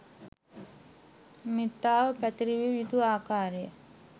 මෙත්තාව පැතිරවිය යුතු ආකාරයත්